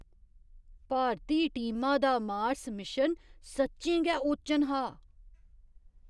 भारती टीमा दा Mars mission सच्चें गै ओचन हा!